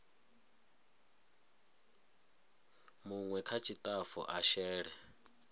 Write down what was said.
munwe kha tshitafu a shele